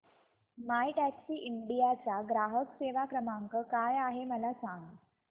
My Taxi India चा ग्राहक सेवा क्रमांक काय आहे मला सांग